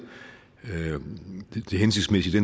det hensigtsmæssige i